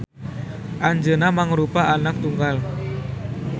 Anjeuna mangrupa anak tunggal.